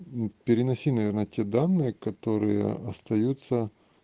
мм переноси наверное те данные которые остаются